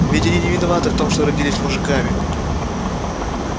ведь они не виноваты в том что родились мужиками